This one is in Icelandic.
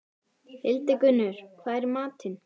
Hildigunnur, hvað er í matinn?